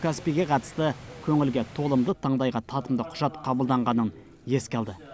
каспийге қатысты көңілге толымды таңдайға татымды құжат қабылданғанын еске алды